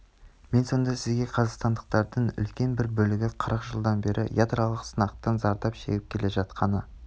мен сонда сізге қазақстандықтардың үлкен бір бөлігі қырық жылдан бері ядролық сынақтан зардап шегіп келе жатқаны